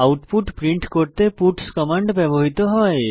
output print করতে puts command ব্যবহৃত হয়